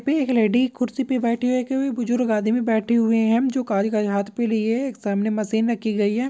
पे एक लेडी कुर्सी पे बैठी हुई की बुजुर्ग आदमी बैठे हुए है जो काली काली हाथ पे लिए एक सामने मशीन म रखी गई हैं।